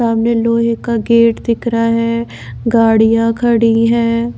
सामने लोहे का गेट दिख रहा है गाड़ियां खड़ी है।